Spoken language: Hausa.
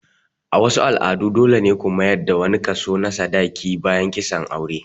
A wasu al'adu dole ne ku mayar da wani kaso na sadaki bayan kisan aure.